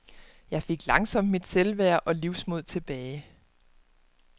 Jeg fik langsomt mit selvværd og livsmod tilbage.